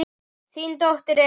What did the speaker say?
Þín dóttir Elín.